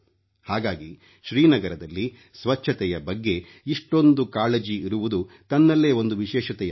ಹಾಗಾಗಿ ಶ್ರೀನಗರದಲ್ಲಿ ಸ್ವಚ್ಛತೆಯ ಬಗ್ಗೆ ಇಷ್ಟೊಂದು ಕಾಳಜಿ ಇರುವುದು ತನ್ನಲ್ಲೇ ಒಂದು ವಿಶೇಷತೆಯಾಗಿದೆ